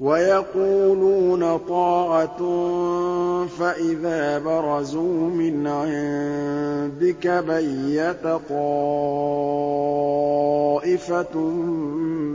وَيَقُولُونَ طَاعَةٌ فَإِذَا بَرَزُوا مِنْ عِندِكَ بَيَّتَ طَائِفَةٌ